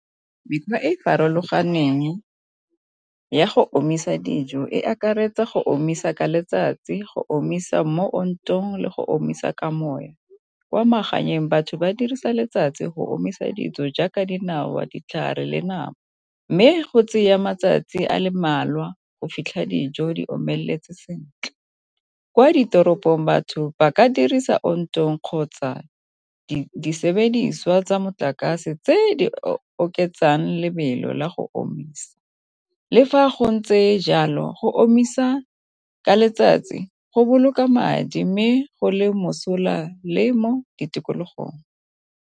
Mekgwa e e farologaneng ya go omisa dijo e akaretsa go omisa ka letsatsi, go omisa mo ontong le go omisa ka moya. Kwa magaeng batho ba dirisa letsatsi go omisa dijo jaaka dinawa, ditlhare le nama. Mme go tseya matsatsi a le mmalwa go fitlha dijo di omeletse sentle. Kwa ditoropong batho ba ka dirisa ontong kgotsa di sebediswa tsa motlakase tse di oketsang lebelo la go omisa, le fa go ntse jalo go omisa ka letsatsi go boloka madi mme go le mosola le mo ditikologong.